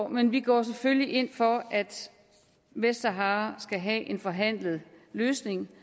men vi går selvfølgelig ind for at vestsahara skal have en forhandlet løsning